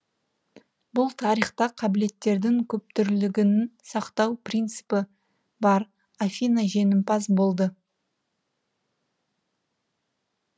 бұл тарихта қабілеттердің көптүрлілігін сақтау принципі бар афина жеңімпаз болды